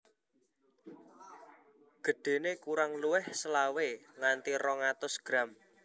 Gedhéné kurang luwih selawe nganti rong atus gram